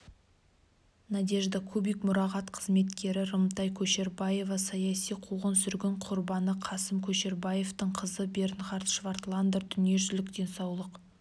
надежда кубик мұрағат қызметкері рымтай көшербаева саяси қуғын-сүргін құрбаны қасым көшербаевтың қызы бернхард швартландер дүниежүзілік денсаулық